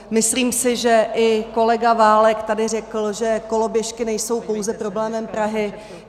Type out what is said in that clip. Myslím si, že i kolega Válek tady řekl, že koloběžky nejsou pouze problémem Prahy.